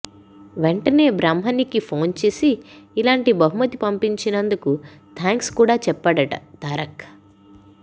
వెంటనే బ్రాహ్మణికి ఫోన్ చేసి ఇలాంటి బహుమతి పంపినందుకు థ్యాంక్స్ కూడా చెప్పాడట తారక్